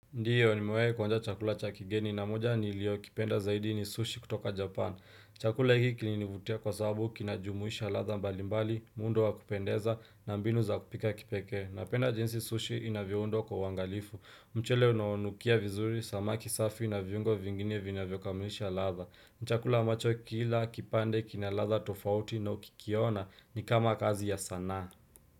Ndiyo nimewahi kuonja chakula cha kigeni na moja nilio kipenda zaidi ni sushi kutoka japan. Chakula hiki kinilinivutia kwa sababu kinajumuisha ladha mbalimbali, muundo wa kupendeza na mbinu za kupika kipekee. Napenda jinsi sushi inavyoundwa kwa uwangalifu. Mchele unaonukia vizuri, samaki safi na viungo vingine vina vyokamulisha ladha. Ni chakula ambacho kila, kipande, kina ladha tofauti na ukikiona ni kama kazi ya sanaa.